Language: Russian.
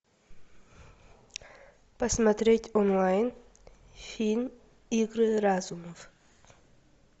посмотреть онлайн фильм игры разумов